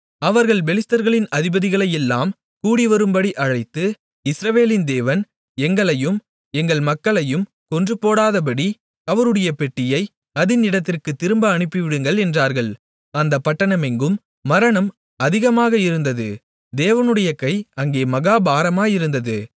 அவர்கள் பெலிஸ்தர்களின் அதிபதிகளையெல்லாம் கூடிவரும்படி அழைத்து இஸ்ரவேலின் தேவன் எங்களையும் எங்கள் மக்களையும் கொன்றுபோடாதபடி அவருடைய பெட்டியை அதின் இடத்திற்குத் திரும்ப அனுப்பிவிடுங்கள் என்றார்கள் அந்தப் பட்டணமெங்கும் மரணம் அதிகமாக இருந்தது தேவனுடைய கை அங்கே மகா பாரமாயிருந்தது